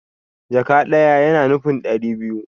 Jaka ɗaya yana nufin ɗari biyu